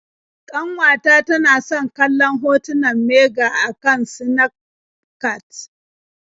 Ƙanwata tana san kallon hotunan mage a kan Sinafcat.